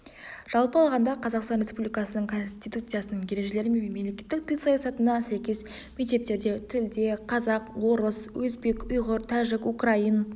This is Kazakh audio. жалпы алғанда қазақстан республикасы конституциясының ережелері мен мемлекеттік тіл саясатына сәйкес мектептерде тілде қазақ орыс өзбек ұйғыр тәжік украин